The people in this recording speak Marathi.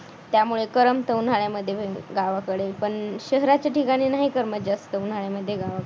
त्यामुळे करमत उन्हाळ्यामध्ये गावाकडे पण शहराच्या ठिकाणी नाही करमत जास्त उन्हाळ्यामध्ये गावाकडे